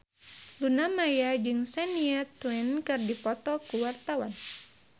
Luna Maya jeung Shania Twain keur dipoto ku wartawan